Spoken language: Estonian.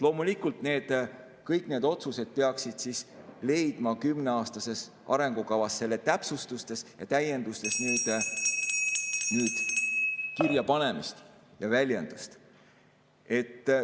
Loomulikult, kõik need otsused peaksid leidma kümneaastases arengukavas, selle täpsustustes ja täiendustes kirjapanemist ja väljendust.